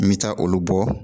N bɛ taa olu bɔ